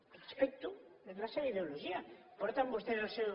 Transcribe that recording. ho respecto és la seva ideologia ho porten vostès al seu